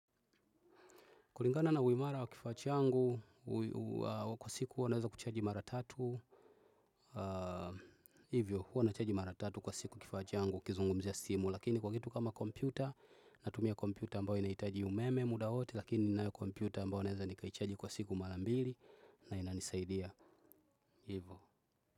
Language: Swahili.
Kulingana na uimara wa kifaa changu, kwa siku huwa naweza kuchaji mara tatu, hivyo, huwa nachaji mara tatu kwa siku kifaa changu, nikizungumzia simu, lakini kwa kitu kama kompyuta, natumia kompyuta ambayo inahitaji umeme muda wote, lakini ninayo kompyuta ambayo naweza nikaichaji kwa siku mara mbili na inanisaidia hivyo.